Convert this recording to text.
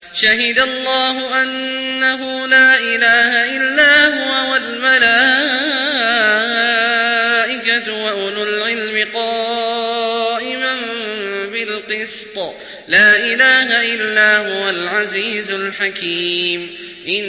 شَهِدَ اللَّهُ أَنَّهُ لَا إِلَٰهَ إِلَّا هُوَ وَالْمَلَائِكَةُ وَأُولُو الْعِلْمِ قَائِمًا بِالْقِسْطِ ۚ لَا إِلَٰهَ إِلَّا هُوَ الْعَزِيزُ الْحَكِيمُ